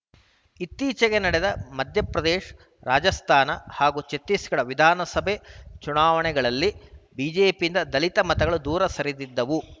ಇತ್ತೀಚೆಗೆ ನಡೆದ ಮಧ್ಯಪ್ರದೇಶ ರಾಜಸ್ಥಾನ ಹಾಗೂ ಛತ್ತೀಸ್‌ಗಢ ವಿಧಾನಸಭೆ ಚುನಾವಣೆಗಳಲ್ಲಿ ಬಿಜೆಪಿಯಿಂದ ದಲಿತರ ಮತಗಳು ದೂರ ಸರಿದಿದ್ದವು